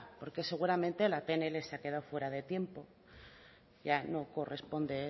porque seguramente la pnl se ha quedado fuera de tiempo ya no corresponde